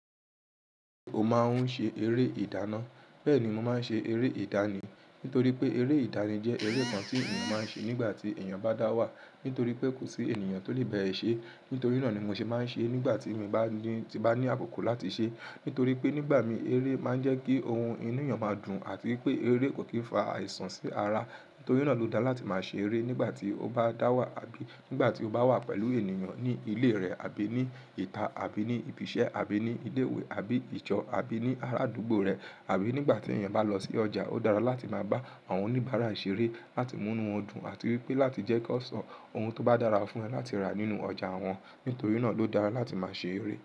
Ò má n ṣe eré ìdáná. Bẹ́ẹ̀ ni mo má n ṣe eré ìdánìí. Nítorí pé eré ìdánìí jẹ́ eré kan tí èèyàn má n ṣe nígbà tí èèyàn bá dá wà. Nítorí pé kò sí èèyàn tó lè ba ẹ ṣe. Nítorí náà ni mo ṣe má n ṣe nígbà tí mo bá ní, tí n bá ní àkókò láti ṣe. Nítorí pé nígbà mìí eré máa n jẹ́ kí ohun inú èèyàn máa dùn àti pé eré kò kí n fa àìsàn sí ara. Nítorí náà ló dára láti máa ṣe eré nígbà tí o bá dá wà àbí nígbà tí o bá wà pẹ̀lú èèyàn ní ilé rẹ àbí ní ìta àbí ní ibi iṣẹ́ àbí ní ilé ìwé àbí ìjọ àbí ní ara àdúgbò rẹ àbí nígbà tí èèyàn bá lọ sí ọjà. Ó dára láti máa bá àwọn oníbàárà ṣe eré láti mú inú wọn dùn àti wípé láti jẹ́ kí wọn sọ ohun tó bá dára fún ẹ láti rà nínú ọjà wọn. Nítorí náà ló dára láti máa ṣe eré.